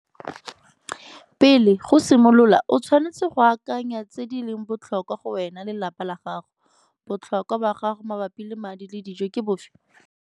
Pele, go simolola, o tshwanetse go akanya tse di leng botlhokwa go wena le lelapa la gago. Botlhokwa ba gago mabapi le madi le dijo ke bofe?